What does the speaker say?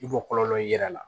I b'o kɔlɔlɔ y'i yɛrɛ la